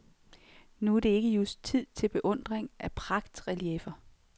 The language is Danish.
Nu er det ikke just tid til beundring af pragtrelieffer.